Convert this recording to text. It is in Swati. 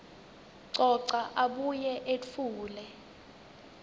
coca abuye etfule